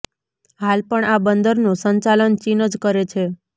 હાલ પણ આ બંદરનું સંચાલન ચીન જ કરે છે